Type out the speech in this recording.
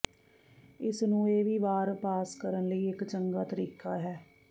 ਇਸ ਨੂੰ ਇਹ ਵੀ ਵਾਰ ਪਾਸ ਕਰਨ ਲਈ ਇੱਕ ਚੰਗਾ ਤਰੀਕਾ ਹੈ